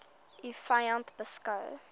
u vyand beskou